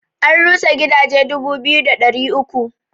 An rusa gidaje dubu biyu da ɗari uku